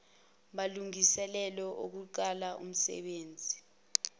malungiselelo okuqalisa umsenbenzi